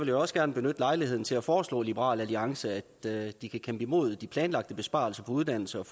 jeg også gerne benytte lejligheden til at foreslå liberal alliance at de kæmper imod de planlagte besparelser på uddannelse og